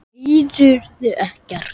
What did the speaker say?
Heyrðuð ekkert?